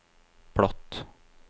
platt